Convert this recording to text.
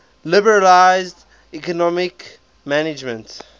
liberalize economic management